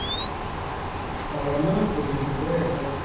ọ̀rọ̀ náà kò sì jù bẹ́ẹ̀ lọ